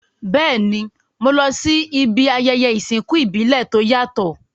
Béèni, mo lo si ibi ayẹyẹ ìsìnkú ìbílẹ̀ to yàtò